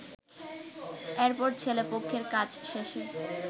এরপর ছেলে পক্ষের কাজ শেষে